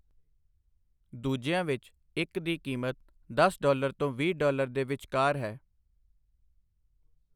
ਦੂਜਿਆਂ ਵਿੱਚ, ਇੱਕ ਦੀ ਕੀਮਤ ਦਸ ਡਾਲਰ ਤੋਂ ਵੀਹ ਡਾਲਰ ਦੇ ਵਿਚਕਾਰ ਹੈ।